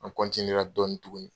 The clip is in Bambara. An ra dɔɔni tuguni.